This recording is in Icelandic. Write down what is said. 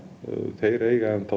þeir eiga